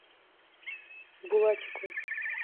булатику